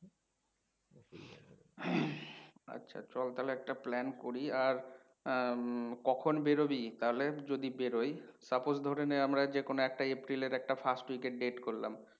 চল তালে একটা plan করি আর আহ কখন বেরোবি তাহলে যদি বেরোই suppose ধরে নে আমরা যে কোনও একটা April এর একটা first week এর date করলাম।